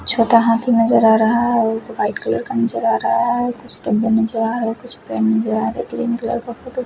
छोटा हाथ नजर आ रहा है और वाईट कलर का नजर आ रहा है कुछ डिब्बे नजर आ रहे कुछ फ्रेंड नजर आ रहे ग्रीन कलर का फोटो --